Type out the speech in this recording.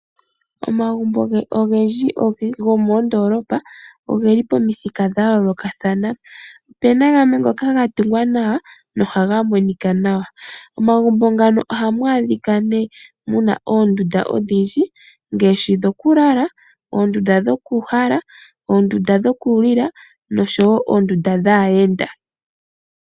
Omagumbo ogendji gomoondoolopa ogeli pomithika dha yoolokathana, opena gamwe ngoka ga tungwa nawa nohaga monika nawa. Omagumbo ngano ohamu adhika nee muna oondunda odhindji ngaashi dhokulala, oondunda dhoku uhala, oondunda dhokulila noshowo oondunda dhaayenda.